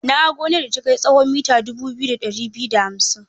Na ga gonar da ta kai tsawon mita dubu biyu da ɗari biyu da hamsin.